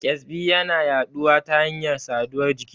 ƙyazbi yana yaɗuwa ta hanyar saduwar jiki.